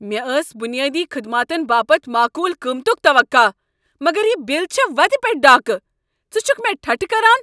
مےٚ ٲس بنیٲدی خدماتن باپتھ معقول قۭمتک توقع، مگر یہ بل چھےٚ وتہِ پیٹھ ڈاكہٕ! ژٕ چھُكھہٕ مےٚ ٹھٹھٕ کران؟